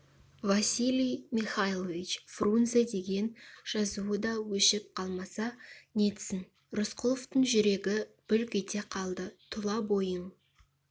василий михайлович фрунзе деген жазуы да өшіп қалмаса нетсін рысқұловтың жүрегі бүлк ете қалды тұла бойын